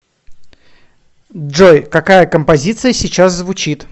джой какая композиция сейчас звучит